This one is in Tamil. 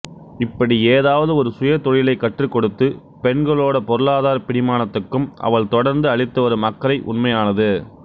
இப்படி ஏதாவது ஒரு சுயதொழிலைக் கற்றுக்கொடுத்து பெண்களோட பொருளாதாரப் பிடிமானத்துக்கு அவள் தொடர்ந்து அளித்து வரும் அக்கறை உண்மையானது